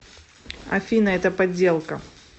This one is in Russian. афина это подделка